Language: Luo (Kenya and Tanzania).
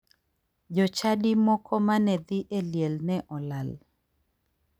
Jochadi moko mane dhi e liel ne olal.